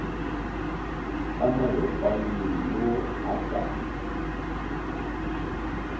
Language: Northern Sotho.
ka malokwane yo a ka